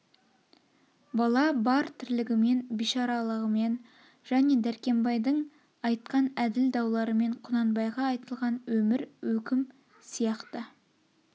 бала бар тірлігімен бишаралығымен және дәркембайдың айтқан әділ дауларымен құнанбайға айтылған өмір өкім сияқты